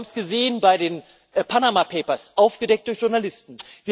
Wir haben es gesehen bei den Panama Papers aufgedeckt durch Journalisten.